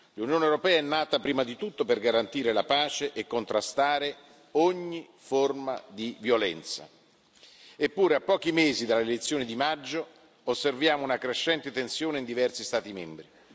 L'Unione europea è nata prima di tutto per garantire la pace e contrastare ogni forma di violenza, eppure a pochi mesi dalle elezioni di maggio, osserviamo una crescente tensione in diversi Stati membri.